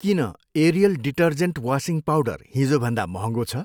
किन Ariel detergent washing powder हिजोभन्दा महँगो छ?